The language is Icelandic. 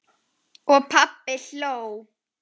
Og pabbi hló.